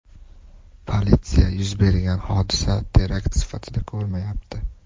Politsiya yuz bergan hodisa terakt sifatida ko‘rmayapti.